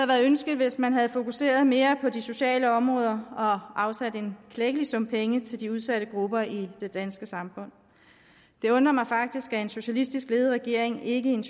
været ønskeligt hvis man havde fokuseret mere på de sociale områder og afsat en klækkelig sum penge til de udsatte grupper i det danske samfund det undrer mig faktisk at en socialistisk ledet regering ikke i en